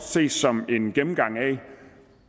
ses som en gennemgang af